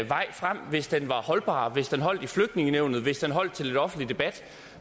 vej frem hvis den var holdbar hvis den holdt i flygtningenævnet hvis den holdt til lidt offentlig debat